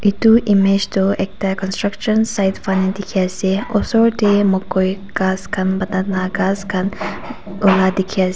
etu image te ekta countruction side khan dekhi ase osor te mokoi gass khan banana grass khan ola dekhi ase.